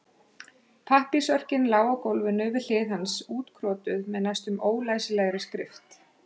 Pappírsörkin lá á gólfinu við hlið hans útkrotuð með næstum ólæsilegri skrift.